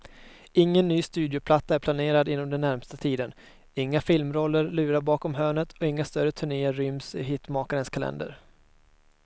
Ingen ny studioplatta är planerad inom den närmaste tiden, inga filmroller lurar bakom hörnet och inga större turnéer ryms i hitmakarens kalender.